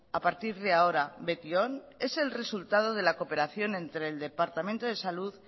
a partir de ahora betion es el resultado de la cooperación entre el departamento de salud